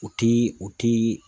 U ti u ti